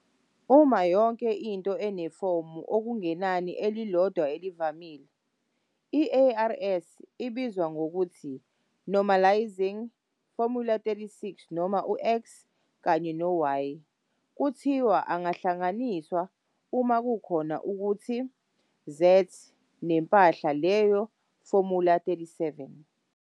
Uma yonke into inefomu okungenani elilodwa elivamile, i-ARS ibizwa ngokuthi "normalizing". formula_36 noma u-"x" kanye no-"y" kuthiwa "angahlanganiswa" uma kukhona okuthi "z" nempahla leyo formula_37.